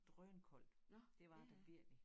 Drønkoldt det var der virkelig